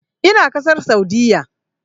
Ina ƙasar Saudiyya.